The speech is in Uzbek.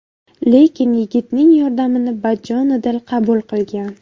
Lekin yigitning yordamini bajonidil qabul qilgan.